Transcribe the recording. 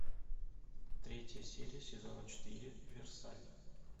третья серия сезона четыре версаль